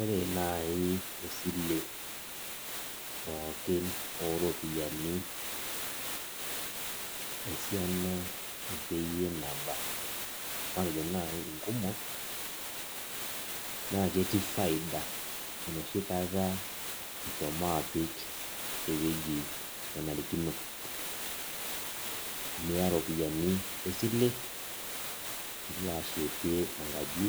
Ore nai esile pookin oropiyiani esiana ake yie nayia na ore nkumok na ketii faida enoshi kata ishomo apik enoshi wuei naishaakino niya ropiyani esile nilo ashetie enkaji